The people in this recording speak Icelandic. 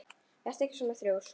Vertu ekki svona þrjósk!